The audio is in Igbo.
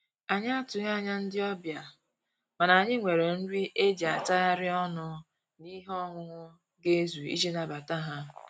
Anyị atụghị anya ndị ọbịa, mana anyị nwere nri e ji atagharị ọnụ na ihe ọńụńụ ga ezu iji nabata ha